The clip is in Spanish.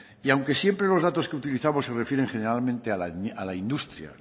aunque siempre los datos que utilizamos se refieren generalmente a la industria